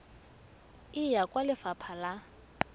e ya kwa lefapha la